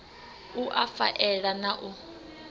u a faela na u